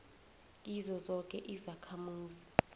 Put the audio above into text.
kizo zoke izakhamuzi